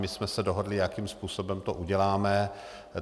My jsme se dohodli, jakým způsobem to uděláme.